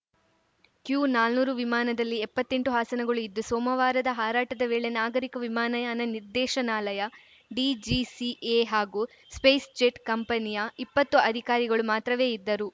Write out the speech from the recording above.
Q ನಾನೂರು ವಿಮಾನದಲ್ಲಿ ಎಪ್ಪತ್ತೆಂಟು ಹಾಸನಗಳು ಇದ್ದು ಸೋಮವಾರದ ಹಾರಾಟದ ವೇಳೆ ನಾಗರಿಕ ವಿಮಾನಯಾನ ನಿರ್ದೇಶನಾಲಯ ಡಿಜಿಸಿಎ ಹಾಗೂ ಸ್ಪೇಸ್‌ಜೆಟ್‌ ಕಂಪನಿಯ ಇಪ್ಪತ್ತು ಅಧಿಕಾರಿಗಳು ಮಾತ್ರವೇ ಇದ್ದರು